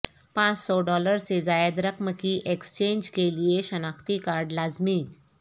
پانچ سو ڈالر سے زائد رقم کی ایکسچینج کے لیے شناختی کارڈ لازمی